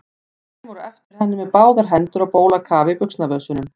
Hann kemur á eftir henni með báðar hendur á bólakafi í buxnavösunum.